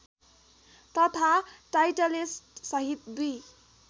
तथा टाइटलिस्टसहित २